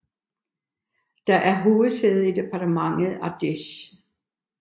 Den er hovedsæde i departementet Ardèche